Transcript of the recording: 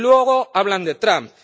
Y luego hablan de Trump.